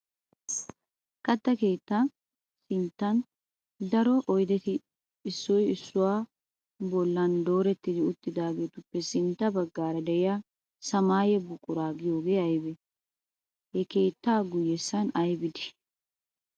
Katta keettaa sinttandaro oyideti issoy issuwara bollan dooretti uttaageetuppe sintta baggaara diya samaaye buquraa go'ay ayibee? Ha keettaa guyyessan ayibi dii?